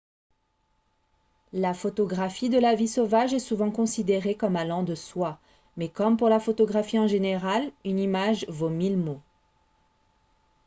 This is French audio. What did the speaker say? la photographie de la vie sauvage est souvent considérée comme allant de soi mais comme pour la photographie en général une image vaut mille mots